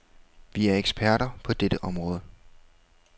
Vi er eksperter på dette område.